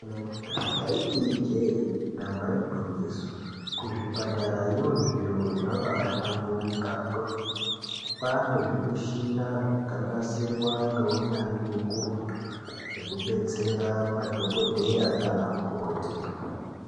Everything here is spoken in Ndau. Ndaiti Ije damba igwinyiso kuzvipatarayo zviro zvabahlamburuka kwemene kwane zvimushini zvakanasirwa neunyanzvi ukurutu zvekudetsera madhokodheya nana mukoti.